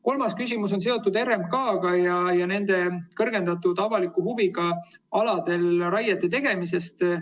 Kolmas küsimus on seotud RMK‑ga ja kõrgendatud avaliku huviga aladel raiete tegemisega.